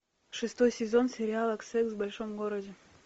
шестой сезон сериала секс в большом городе